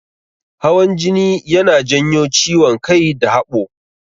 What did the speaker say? Hawan jini yana janyo ciwon kai da haɓo.